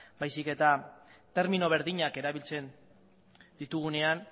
baizik eta termino berdinak erabiltzen ditugunean